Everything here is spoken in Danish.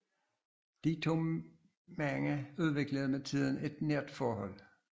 De to mænd udviklede med tiden et nært forhold